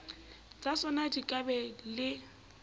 tsatsona di ka ba le